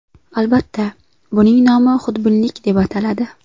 Albatta, buning nomi xudbinlik deb ataladi.